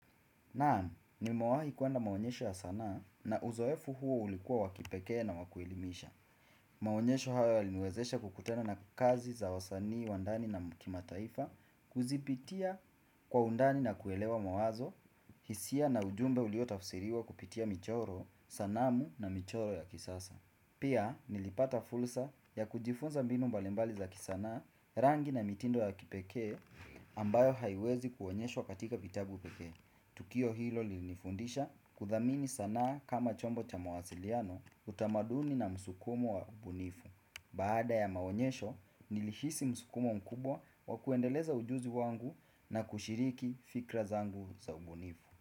Naam, nimawahi kuenda maonyesho ya sana na uzoefu huo ulikuwa wakipeke na wakuelimisha. Maonyesho hawa linuezesha kukutena na kazi za wasani, wandani na mkima taifa, kuzipitia kwa undani na kuelewa mawazo, hisia na ujumbe uliotafusiriwa kupitia michoro, sanamu na michoro ya kisasa. Pia, nilipata fulsa ya kujifunza binu mbalembali za kisana rangi na mitindo ya kipeke ambayo haiwezi kuonyeshwa wakatika kitabu peke. Tukio hilo li nifundisha kuthamini sana kama chombo cha mawasiliano utamaduni na msukumo wa ubunifu. Baada ya maonyesho, nilihisi msukumo mkubwa wa kuendeleza ujuzi wangu na kushiriki fikra zangu za ubunifu.